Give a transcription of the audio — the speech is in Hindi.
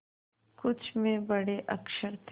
कुछ में बड़े अक्षर थे